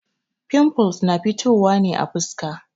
Fimfuls na fitowa ne a fuska.